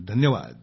धन्यवाद